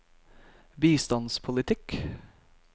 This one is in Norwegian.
bistandspolitikk